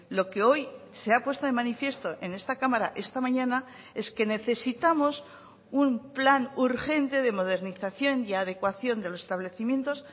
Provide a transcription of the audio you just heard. lo que hoy se ha puesto de manifiesto en esta cámara esta mañana es que necesitamos un plan urgente de modernización y adecuación de los establecimientos